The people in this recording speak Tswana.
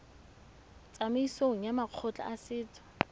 tsamaisong ya makgotla a setso